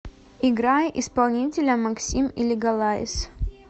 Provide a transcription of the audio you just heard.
играй исполнителя максим и лигалайз